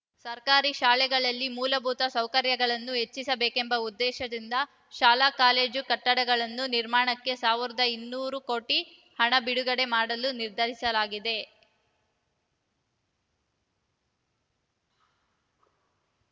ಸರ್ಕಾರಿ ಶಾಲೆಗಳಲ್ಲಿ ಮೂಲಭೂತ ಸೌಕರ್ಯಗಳನ್ನು ಹೆಚ್ಚಿಸಬೇಕೆಂಬ ಉದ್ದೇಶದಿಂದ ಶಾಲಾಕಾಲೇಜು ಕಟ್ಟಡಗಳ ನಿರ್ಮಾಣಕ್ಕೆ ಸಾವಿರದ ಇನ್ನೂರು ಕೋಟಿ ಹಣ ಬಿಡುಗಡೆ ಮಾಡಲು ನಿರ್ಧರಿಸಲಾಗಿದೆ